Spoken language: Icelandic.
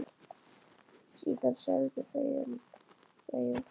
Síðan þögðu þau um hríð.